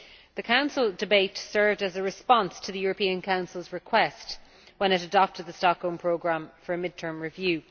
The Council debate served as a response to the European Council's request, when it adopted the Stockholm Programme, for a mid term review.